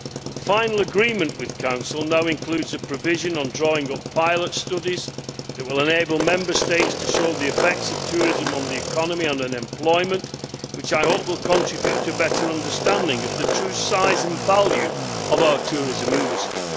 The final agreement with Council now includes a provision on drawing up pilot studies that will enable Member States to show the effects of tourism on the economy and on employment, which I hope will contribute to a better understanding of the true size and value of our tourism industry.